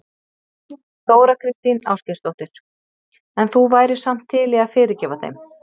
Þóra Kristín Ásgeirsdóttir: En þú værir samt til í að fyrirgefa þeim?